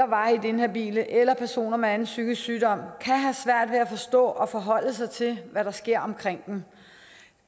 varigt inhabile eller personer med anden psykisk sygdom kan have svært ved at forstå og forholde sig til hvad der sker omkring dem